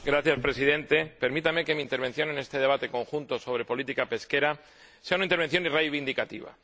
Señor Presidente, permítame que mi intervención en este debate conjunto sobre política pesquera sea una intervención reivindicativa.